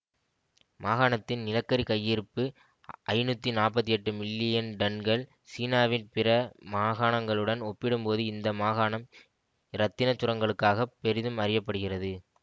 மாகாணத்தின் நிலக்கரி கையிருப்பு ஐநூற்றி நாற்பத்தி எட்டு மில்லியன் டன்கள் சீனாவின் பிற மாகாணங்களுடன் ஒப்பிடும்போது இந்த மாகாணம் இரத்தினச்சுரங்கங்களுக்காகப் பெரிதும் அறிய படுகிறது